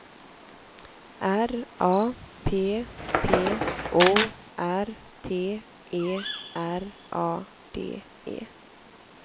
R A P P O R T E R A D E